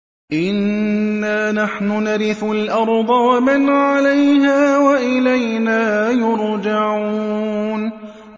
إِنَّا نَحْنُ نَرِثُ الْأَرْضَ وَمَنْ عَلَيْهَا وَإِلَيْنَا يُرْجَعُونَ